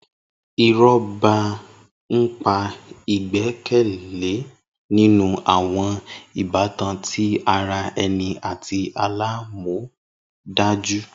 Irọba npa igbẹkẹle ninu awọn ibatan ti ara ẹni ati alamọdaju.